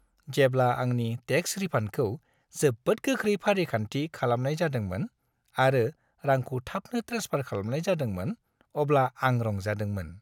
जेब्ला आंनि टेक्स रिफान्डखौ जोबोद गोख्रै फारिखान्थि खालामनाय जादोंमोन, आरो रांखौ थाबनो ट्रेन्सफार खालामनाय जादोंमोन, अब्ला आं रंजादोंमोन।